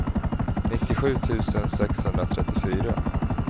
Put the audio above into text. nittiosju tusen sexhundratrettiofyra